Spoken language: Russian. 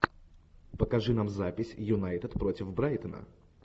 покажи нам запись юнайтед против брайтона